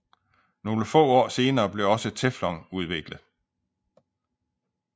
Nogle få år senere blev også teflon udviklet